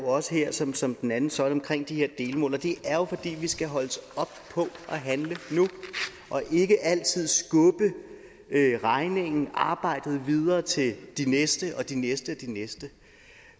også her som som den anden søjle på de her delmål og det er jo fordi vi skal holdes op på at handle nu og ikke altid skubbe regningen og arbejdet videre til de næste og de næste igen